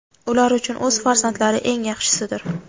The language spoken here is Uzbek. Ular uchun o‘z farzandlari eng yaxshisidir.